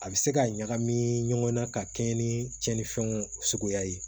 A bɛ se ka ɲagami ɲɔgɔn na ka kɛɲɛ ni cɛnnifɛnw suguya ye